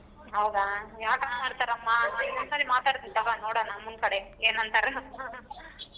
ಹೌದಾ ಯಾಕ್ ಹಂಗ್ ಮಾಡ್ತಾರ್ ಅಮ್ಮಾ ನಾನ್ ಒಂದ್ ಸಾರಿ ಮಾತಾಡ್ತೀನಿ ತೊಗೋ ನೋಡೋಣ ಅಮ್ಮನ ಕಡೆ ಏನಂತಾರೆ.